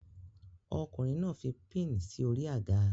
Ọkùnrin náà fi pin sí orí àga